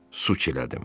Su çilədim.